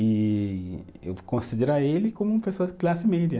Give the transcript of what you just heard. E eu considerar ele como uma pessoa de classe média.